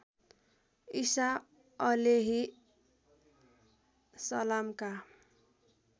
ईसा अलेही सलामका